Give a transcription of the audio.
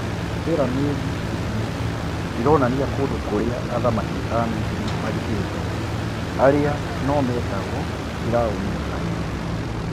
Biramidi icio ironania kũndũ kũrĩ a athamaki a Misiri mathikĩ two arĩ a no metagwo "Firaũni airũ".